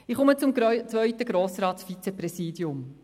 Ich komme zum zweiten Grossratsvizepräsidium.